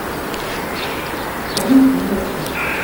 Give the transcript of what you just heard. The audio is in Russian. комната наверху